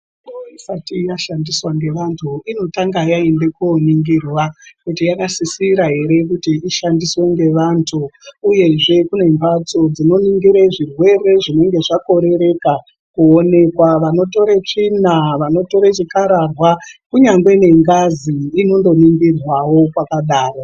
Mitombo isati yandiswa ngevantu inotanga yaende koningirwa kuti yakasisira ere kuti ishandiswe ngevantu uyezve kune mbatso dzinoningira zvirwere zvinenge zvakorereka kuonekwa. Vanotore tsvina, vanotora chikararwa kunyangwe ne ngazi inotoningirwawo kwakadaro.